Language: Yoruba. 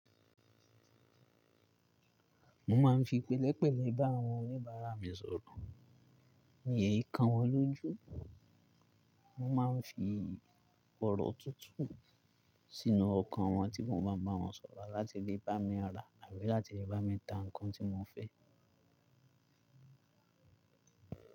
Mo máa ń fi pélépélé bá àwọn oníbàárà mi sọ̀rọ̀. Mi ẹ kan wọ́n lójú, mo máa ń fi ọ̀rọ̀ tútù sínúọkàn wọ́n tí mo maa n bá wọn sọ̀rọ̀ láti lè bá mi ra àbí láti lè bá mi ta nǹkan tí mo fẹ́.